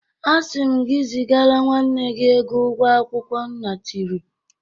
Asị m gị zigara nwanne gị ego ụgwọ akwụkwọ nna tiri